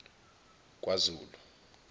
kwazulu